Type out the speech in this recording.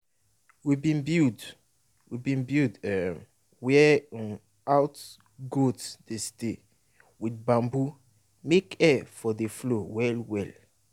we bin build we bin build um where um out goat dey stay wit bamboo make air for dey flow well well.